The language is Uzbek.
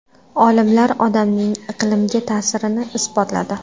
Olimlar odamning iqlimga ta’sirini isbotladi.